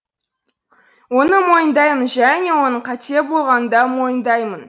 оны мойындаймын және оның қате болғанын да мойындаймын